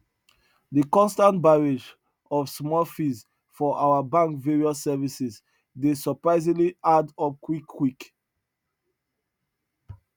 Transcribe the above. de constant barrage of small fees for our bank various services dey surprisingly add up quick quick